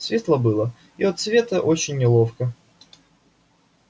светло было и от света очень неловко